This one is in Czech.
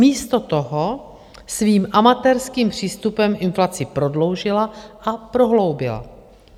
Místo toho svým amatérským přístupem inflaci prodloužila a prohloubila.